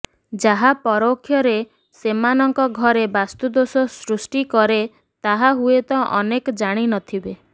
ଯାହା ପରୋକ୍ଷରେ ସେମାନଙ୍କ ଘରେ ବାସ୍ତୁଦୋଷ ସୃଷ୍ଟି କରେ ତାହା ହୁଏତ ଅନେକ ଜାଣି ନଥିବେ